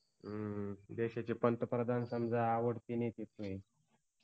हम्म देशाचे पंतप्रधान समजा आवडते नेते तुझे